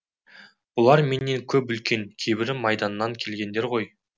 бұлар менен көп үлкен кейбірі майданнан келгендер ғой